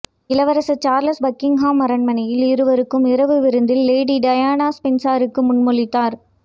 இளவரசர் Charles Buckingham அரண்மனையில் இருவருக்கும் இரவு விருந்தில் லேடி டயானா ஸ்பென்சருக்கு முன்மொழிந்தார்